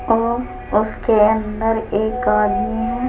और उसके अंदर एक आदमी है।